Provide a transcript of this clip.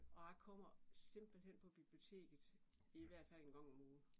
Og jeg kommer simpelthen på biblioteket i hvert fald en gang om ugen